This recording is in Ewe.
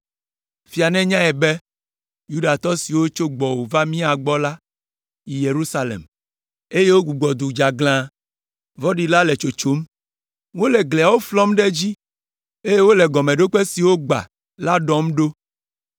Fia nenyae be, Yudatɔ siwo tso gbɔwò va mía gbɔ la yi Yerusalem, eye wogbugbɔ du dzeaglã, vɔ̃ɖi la le tsotsom. Wole gliawo flɔm ɖe dzi, eye wole gɔmeɖokpe siwo gbã la ɖɔm ɖo.